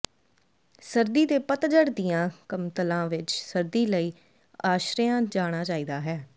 ਸਰਦੀ ਦੇ ਪਤਝੜ ਦੀਆਂ ਕਮਤਲਾਂ ਵਿੱਚ ਸਰਦੀ ਲਈ ਆਸ਼ਰਿਆ ਜਾਣਾ ਚਾਹੀਦਾ ਹੈ